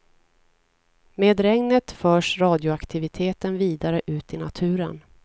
Med regnet förs radioaktiviteten vidare ut i naturen.